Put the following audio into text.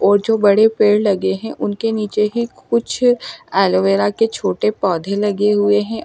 और जो बड़े पेड़ लगे हैं उनके नीचे ही कुछ एलोवेरा के छोटे पौधे लगे हुए हैं।